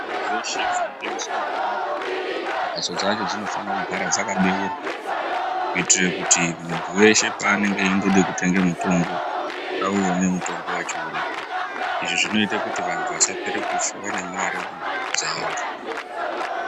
Ndau dzeshe dzinotengese mitombo, mhatso dzacho dzinofanira kugara dzakabeurwa kuitire kuti muntu weshe panenge eindode kutenge mutombo auone mutombo wacho uripo. Izvi zvinoite kuti vantu vasapera kufa vane mare dzavo.